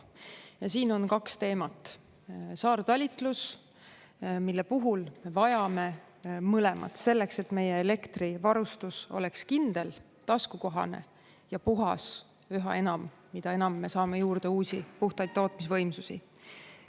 Ja siin on kaks teemat: saartalitlus, mille puhul vajame mõlemat selleks, et meie elektrivarustus oleks kindel, taskukohane ja puhas üha enam, mida enam me saame juurde uusi puhtaid tootmisvõimsusi.